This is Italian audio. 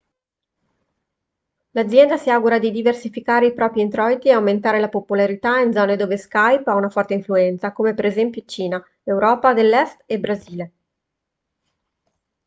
l'azienda si augura di diversificare i propri introiti e aumentare la popolarità in zone dove skype ha una forte influenza come per esempio cina europa dell'est e brasile